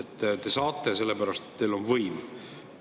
Te saate seda teha, sellepärast et teil on võim.